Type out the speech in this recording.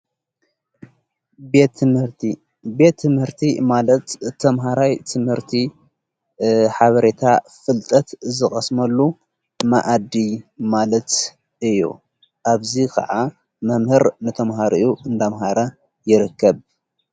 ምህርቲቤ ትምህርቲ ማለት ተምሃራይ ትምህርቲ ሓበሬታ ፍልጠት ዝቐስመሉ ማእዲ ማለት እዩ ኣብዙይ ኸዓ መምህር ንተምሃርኡ እንዳምሃረ የረከብ።